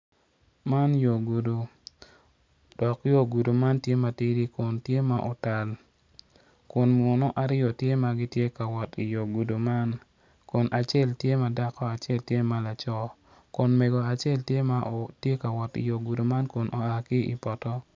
Man yo gudo dok yo gudo man tye matidi dok tye ma otal kun muno aryo tye ma tye ka wot iyo gudo man kun acel tye ma dako acel tye ma laco kun mego acel tye ka wot iyo gudo man kun oa ki ipoto.